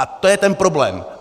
A to je ten problém.